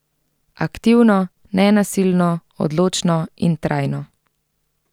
Aktivno, nenasilno, odločno in trajno.